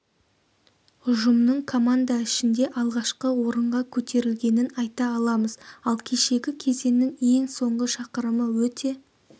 ұжымның команда ішінде алғашқы орынға көтерілгенін айта аламыз ал кешегі кезеңнің ең соңғы шақырымы өте